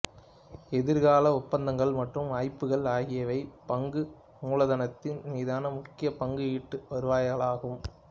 எதிர்கால ஒப்பந்தங்கள் மற்றும் வாய்ப்புகள் ஆகியவையே பங்கு மூலதனத்தின் மீதான முக்கிய பங்கு ஈட்டு வருவாய்களாகும்